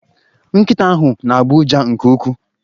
Nkita ahu n'agbo uja nke uwkwuu